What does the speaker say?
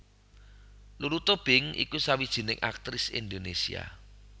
Lulu Tobing iku sawijining aktris Indonésia